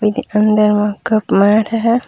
एदे अंदर म कप माढ़े हे।